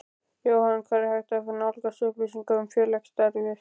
Jóhann: Hvar er hægt að nálgast upplýsingar um félagsstarfið?